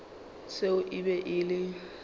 seo e be e le